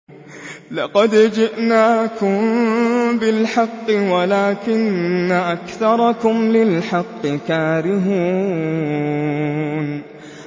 لَقَدْ جِئْنَاكُم بِالْحَقِّ وَلَٰكِنَّ أَكْثَرَكُمْ لِلْحَقِّ كَارِهُونَ